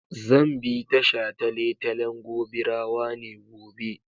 Zan bi ta shataletalen Gobirawa ne gobe.